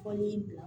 Kɔni